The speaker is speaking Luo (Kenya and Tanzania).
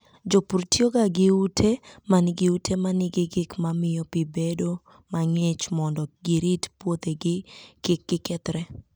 Jopur tiyoga gi ute ma nigi ute ma nigi gik ma miyo pi bedo mang'ich mondo girit puothegi kik gikethre.